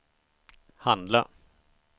handla